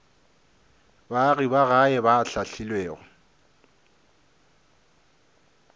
baagi ba gae ba hlahlilwego